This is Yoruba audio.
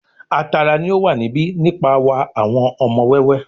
A tara ni o wa níbi nipa wa awọn ọmọ wẹwẹ